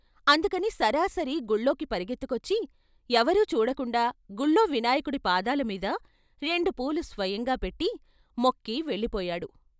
అందుకని సరాసరి గుళ్ళోకి పరుగెత్తుకొచ్చి ఎవరూ చూడకుండా గుళ్ళో వినాయకుడి పాదాల మీద రెండు పూలు స్వయంగా పెట్టి మొక్కి వెళ్ళిపోయాడు.